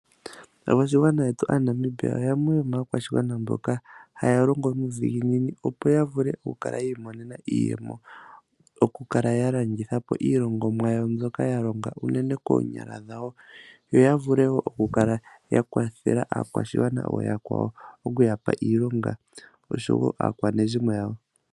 Aakwashigwana yetu aaNamibia yamwe yomaakwashigwana mboka haya longo nuudhiginini opo yavule okukala yiimonena iiyemo, okukala yalandithapo iiyemo yawo mbyoka yalonga unene koonyala dhawo, yo ya vule wo okukala ya kwathela aakwashigwana ooyakwawo okuyapa iilonga osho wo aakwanezimo yawo.